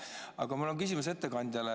Aga mul on küsimus ettekandjale.